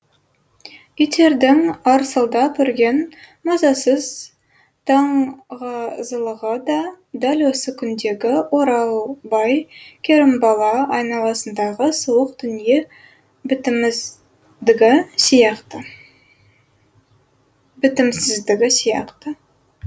иттердің арсылдап үрген мазасыз даңғазылығы да дәл осы күндегі оралбай керімбала айналасындағы суық дүние сияқты бітімсіздігі сияқты